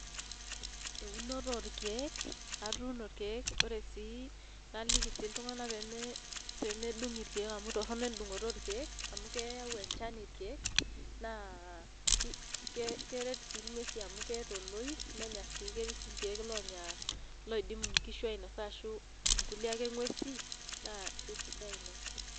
Eunoto oorkeek atuno irkeek ore sii .naliki sii iltung'anak pee medung' irkeek amu Torono edung'oto orkeek, amu keyau enchan irkeek, naa keret sii ng'uesi amu keeta oloip. nenya sii nguesi amu ketii sii irkeek loonya, loidim nkishu ainosa ashu nkulie ake nguesi naa isaidia Ina.